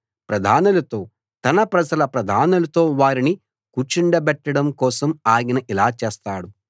ప్రధానులతో తన ప్రజల ప్రధానులతో వారిని కూర్చోబెట్టడం కోసం ఆయన ఇలా చేస్తాడు